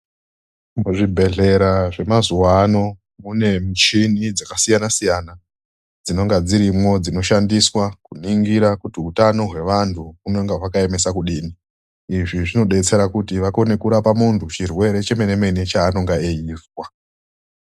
Muzvibhedhlera zvemazuwano mune michini dzakasiyana siyana dzinonga dzinoshandiswe kuhloya kuti utano hwaantu hwakaemesa kudini izvi zvinodetsere kuti vakone kurape muntu chirwere chemene mene cheanenge einzwa.